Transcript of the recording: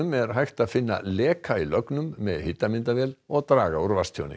er hægt að finna leka í lögnum með og draga úr